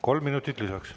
Kolm minutit lisaks.